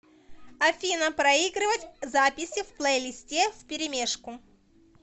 афина проигрывать записи в плейлисте вперемешку